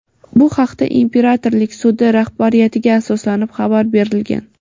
Bu haqda imperatorlik sudi rahbariyatiga asoslanib xabar berilgan.